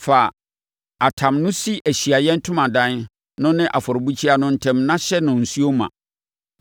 Fa atam no si Ahyiaeɛ Ntomadan no ne afɔrebukyia no ntam na hyɛ no nsuo ma.